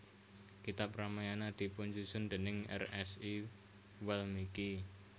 Kitab Ramayana dipunsusun déning Rsi Walmiki